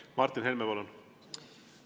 Martin Helme, palun!